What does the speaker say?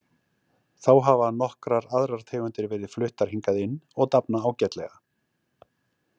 Þá hafa nokkrar aðrar tegundir verið fluttar hingað inn og dafna ágætlega.